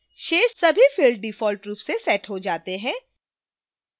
शेष सभी fields default रूप से set हो जाते हैं